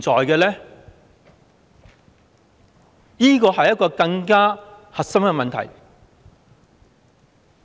這是一個更加核心的問題。